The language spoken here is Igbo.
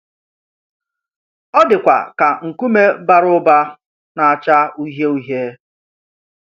Ọ dịkwa ka nkume bara ụba na-acha uhie uhie.